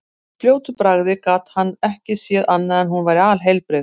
Í fljótu bragði gat hann ekki séð annað en hún væri alheilbrigð.